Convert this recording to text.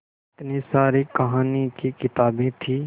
इतनी सारी कहानी की किताबें थीं